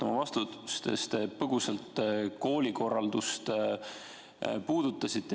Oma vastustes te põgusalt koolikorraldust puudutasite.